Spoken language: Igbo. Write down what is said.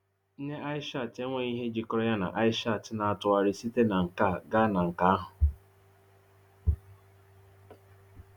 Nne Aishat enweghị ihe jikọrọ ya na Aishat na-atụgharị site na nke a gaa na nke ahụ.